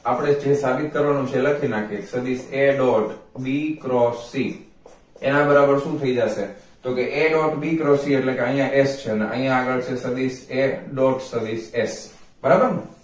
આપણે જે સાબિત કરવા નું છે એ લખી નાખીએ સદિસ a dot b cross c એના બરાબર શુ થઇ જસે તો કે a dot b cross c એટલે કે આયા h છે અને અહિયાં આગળ છે સદિસ a dot સદિસ h બરાબર ને